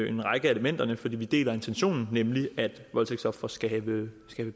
en række af elementerne for vi deler intentionen nemlig at voldtægtsofre skal have